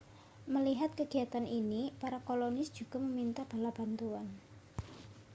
melihat kegiatan ini para kolonis juga meminta bala bantuan